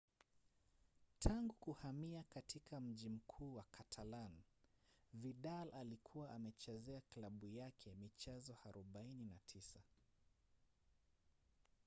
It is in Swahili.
tangu kuhamia katika mji mkuu wa catalan vidal alikuwa amechezea klabu yake michezo 49